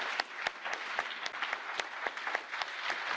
Merci beaucoup, Monsieur le Président, pour vos mots.